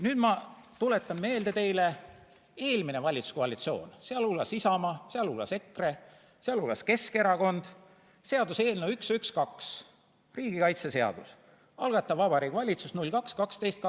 Nüüd ma tuletan teile meelde: eelmine valitsuskoalitsioon, sh Isamaa, sh EKRE, sh Keskerakond, seaduseelnõu 112, riigikaitseseadus, algataja Vabariigi Valitsus 02.12.2019.